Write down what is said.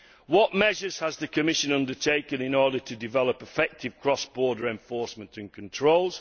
What measures has the Commission undertaken in order to develop effective cross border enforcement and controls?